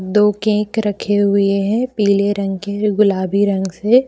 दो केक रखे हुए हैं पीले रंग के गुलाबी रंग से।